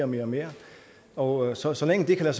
mere og mere og så så længe det kan